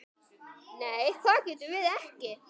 Nei það getum við ekki.